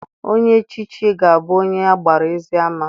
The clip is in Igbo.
Onye echichi ga-abụ onye agbara ezi ama.